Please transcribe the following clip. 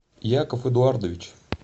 яков эдуардович